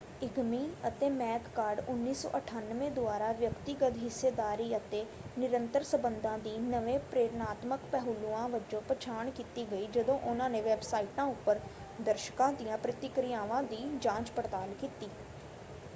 Eighmey ਅਤੇ McCord 1998 ਦੁਆਰਾ ਵਿਅਕਤੀਗਤ ਹਿੱਸੇਦਾਰੀ ਅਤੇ ਨਿਰੰਤਰ ਸੰਬੰਧਾਂ ਦੀ ਨਵੇਂ ਪ੍ਰੇਰਨਾਤਮਕ ਪਹਿਲੂਆਂ ਵਜੋਂ ਪਛਾਣ ਕੀਤੀ ਗਈ ਜਦੋਂ ਉਹਨਾਂ ਨੇ ਵੈੱਬਸਾਈਟਾਂ ਉੱਪਰ ਦਰਸ਼ਕਾਂ ਦੀਆਂ ਪ੍ਰਤਿਕਿਰਿਆਵਾਂ ਦੀ ਜਾਂਚ-ਪੜਤਾਲ ਕੀਤੀ।